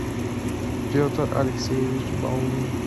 петр алексеевич баулин